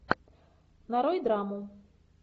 нарой драму